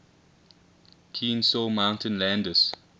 kenesaw mountain landis